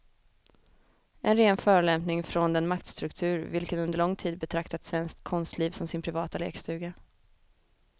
En ren förolämpning från den maktstruktur vilken under lång tid betraktat svenskt konstliv som sin privata lekstuga.